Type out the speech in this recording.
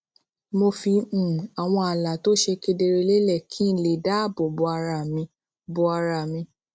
mo fi um àwọn ààlà tó ṣe kedere lélè kí n lè dáàbò bo ara mi bo ara mi